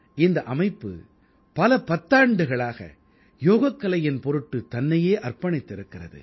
இந்த அமைப்பு பல பத்தாண்டுகளாக யோகக் கலையின் பொருட்டு தன்னையே அர்ப்பணித்திருக்கிறது